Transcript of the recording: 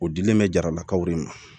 O dilen bɛ jaralakaw de ma